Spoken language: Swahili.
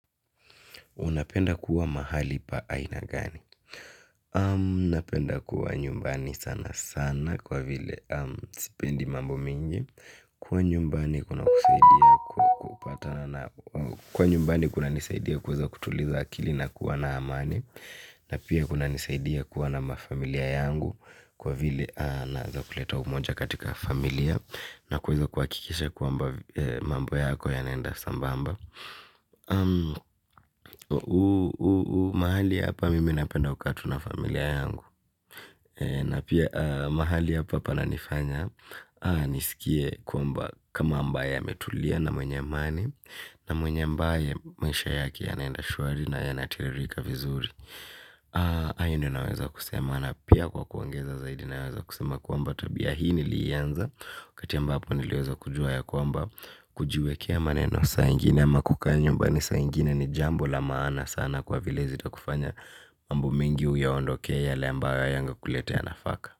Unapenda kuwa mahali pa aina gani? Napenda kuwa nyumbani sana sana kwa vile sipendi mambo mingi. Kuwa nyumbani kuna kusaidia kupatana na kuwa nyumbani kunanisaidia kuweza kutuliza akili na kuwa na amani. Na pia kunanisaidia kuwa na mafamilia yangu, kwa vile naeza kuleta umoja katika familia. Na kuweza kuhakikisha kwamba, mambo yako yanaenda sambamba. Mahali hapa mimi napenda kukaa tu na familia yangu. Na pia mahali hapa pananifanya, nisikie kwamba kama ambaye ametulia na mwenye amani. Na mwenye ambaye maisha yake yanaenda shwari na yanatiririka vizuri. Hayo ndio ninaweza kusema na pia kwa kuongeza zaidi naweza kusema kwamba tabia hii niliianza, wakati ambapo niliweza kujua ya kwamba kujiwekea maneno saa ingine ama kukaa nyumbani saa ingine ni jambo la maana sana kwa vile zitakufanya, mambo mengi uyaondokee yale ambayo hayange kulete nafaka.